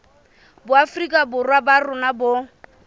boafrika borwa ba rona bo